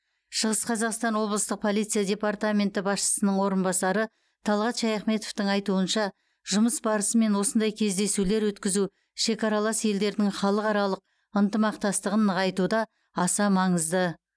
шығыс қазақстан облыстық полиция департаменті басшысының орынбасары талғат шаяхметовтің айтуынша жұмыс барысымен осындай кездесулер өткізу шекаралас елдердің халықаралық ынтымақтастығын нығайтуда аса маңызды